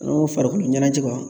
An'o farikolo ɲɛnajɛ